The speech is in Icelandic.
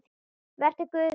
Vertu Guði falinn.